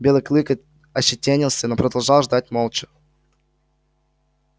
белый клык ощетинился но продолжал ждать молча